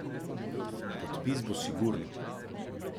Podpis bo sigurno.